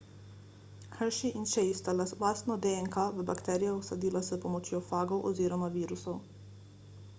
hershey in chase sta lastno dnk v bakterijo vsadila s pomočjo fagov oziroma virusov